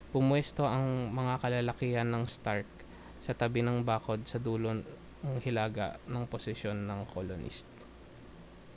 pumuwesto ang mga kalalakihan ng stark sa tabi ng bakod sa dulong hilaga ng posisyon ng colonist